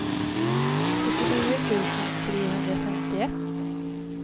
sjuttionio tusen trehundrafemtioett